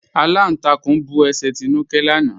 Alántàkún bú ẹ̀ṣẹ́ Tínúkẹ̀ lànà.